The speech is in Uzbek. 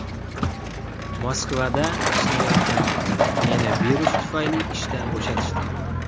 Moskvada ishlayotgandim, meni virus tufayli ishdan bo‘shatishdi.